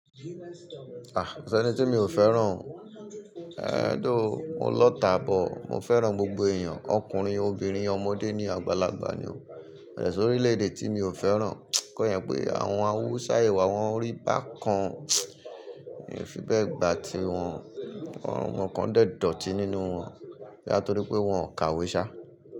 Ah! Ko si ẹni tí mi ò fẹ́ràn? Ehn, though, mo lọ́ta but. Mo fẹ́ràn gbogbo èèyàn ọkùnrin, obìnrin, ọmọdé ní àgbàlagbà ni o. Bẹ̀tí sórí orílè-èdè tí mi ò fẹ́ràn, kọ́ yẹn pé àwọn Hausa ìwà wọn rí bá kan, èyí ò fi bẹ́ẹ̀ gbà tí wọn, nǹkan kan dẹ́ dọ̀tí nínú wọn. Boya torí pé wọn kàwé ṣá.